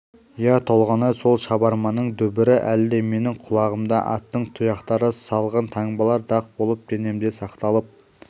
иә толғанай сол шабарманның дүбірі әлі де менің құлағымда аттың тұяқтары салған таңбалар дақ болып денемде сақталып